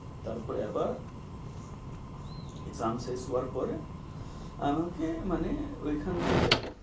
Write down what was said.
তারপরে আবার আমাকে মানে ওইখান থেকে,